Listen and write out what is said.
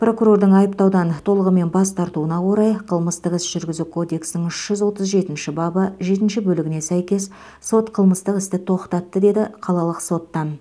прокурордың айыптаудан толығымен бас тартуына орай қылмыстық іс жүргізу кодексінің үш жүз отыз жетінші бабы жетінші бөлігіне сәйкес сот қылмыстық істі тоқтатты деді қалалық соттан